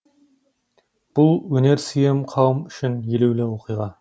бұл өнерсүйер қауым үшін елеулі оқиға